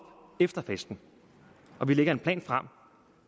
efter festen og vi lægger en plan frem